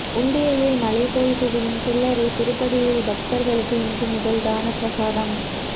உண்டியலில் மலை போல் குவியும் சில்லறை திருப்பதியில் பக்தர்களுக்கு இன்று முதல் தன பிரசாதம்